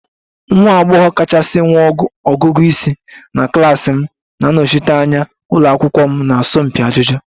Nwa agbọghọ kachasị nwee ọgụgụ isi na klas m na-anọchite anya ụlọ akwụkwọ m na asọmpi ajụjụ